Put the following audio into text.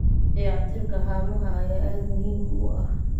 Dayactirka haamaha ayaa aad muhiim u ah.